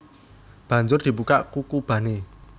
Banjur dibukak kukubané